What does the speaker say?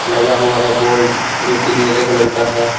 लगा हुआ है बोर्ड जोकि नीले कलर का है।